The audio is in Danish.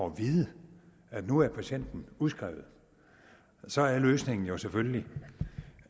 at vide at nu er patienten udskrevet så er løsningen selvfølgelig